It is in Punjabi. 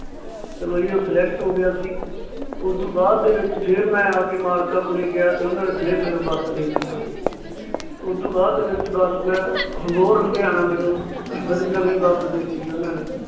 ਚਲੋ ਜੀ ਉਹ Select ਹੋ ਗਿਆ ਸੀ। ਉਸ ਤੋਂ ਬਾਅਦ ਦੇ ਵਿਚ ਫਿਰ ਮੈਂ ਆਪ ਦੇ ਮਾਲਕਾਂ ਕੋਲ਼ੇ ਗਿਆ ਤੇ ਉਹਨਾਂ ਨੇ ਫਿਰ ਮੈਨੂੰ ਬੱਸ ਦੇਤੀ ਸੀ। ਉਸ ਤੋਂ ਬਾਅਦ ਦੇ ਵਿੱਚ ਬੱਸ ਮੈਂ ਅਬੋਹਰ ਲੁਧਿਆਣਾ ਮੈਨੂੰ ਨਵੀਂ ਬੱਸ ਦੇਤੀ ਸੀ ਗੀ ਉਹਨਾਂ ਨੇ